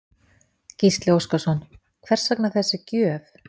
Gísli Óskarsson: Hvers vegna þessi gjöf?